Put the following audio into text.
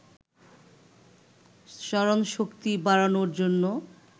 স্মরণশক্তি বাড়ানোর জন্য